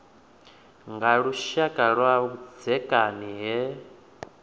nga lushaka lwa vhudzekani he